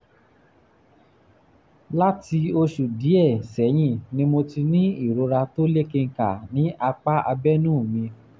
láti oṣù díẹ̀ sẹ́yìn ni mo ti ń ní ìrora tó lékenkà ní apá abẹ́nú ní apá abẹ́nú mi